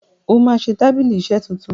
óma ṣẹ tábìlì iṣe títún